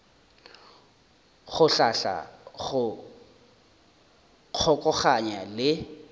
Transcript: go hlahla go kgokaganya le